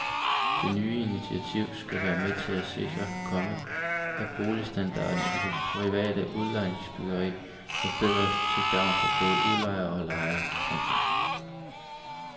Det nye initiativ skal være med til at sikre, komma at boligstandarden i det private udlejningsbyggeri forbedres til gavn for både udlejere og lejere. punktum